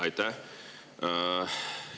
Aitäh!